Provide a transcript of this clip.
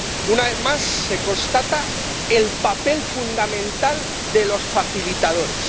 Una vez más se constata el papel fundamental de los facilitadores.